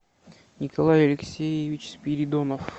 николай алексеевич спиридонов